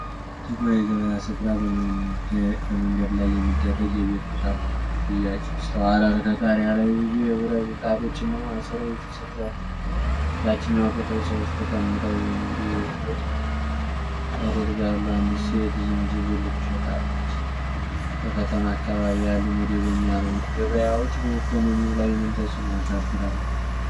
ጥቁር የገበያ ስፍራ በመንገድ ላይ የሚደረግ የቤት ቁሳቁሶች ሽያጭ ይስተዋላል። ከጣሪያ ላይ ብዙ የብረት ምጣዶችና ማሰሮዎች ተሰቅለዋል። በታችኛው ክፍል ሰዎች ተቀምጠው የንግድ ልውውጥ ያደርጋሉ፤ አንዲት ሴት ዝንጅብል ትሸጣለች። በከተማ አካባቢ ያሉ መደበኛ ያልሆኑ ገበያዎች በኢኮኖሚው ላይ ምን ተጽዕኖ ያሳድራሉ?